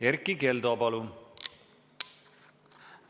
Erkki Keldo, palun!